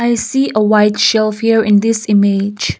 i see a white shelf here in this image.